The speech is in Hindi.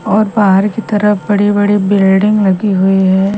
और बाहर की तरफ बड़े बड़े बिल्डिंग लगी हुई है।